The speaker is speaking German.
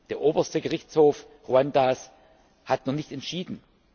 Der Oberste Gerichtshof Ruandas hat noch nicht entschieden.